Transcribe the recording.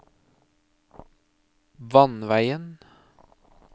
vannveien